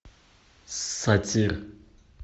сатир